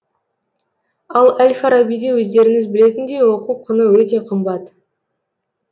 ал әл фарабиде өздеріңіз білетіндей оқу құны өте қымбат